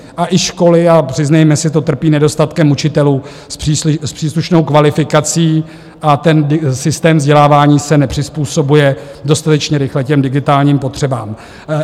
A i školy, a přiznejme si to, trpí nedostatkem učitelů s příslušnou kvalifikací a ten systém vzdělávání se nepřizpůsobuje dostatečně rychle těm digitálním potřebám.